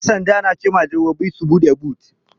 Ƴan sanda suna cema direbobi su buɗe but.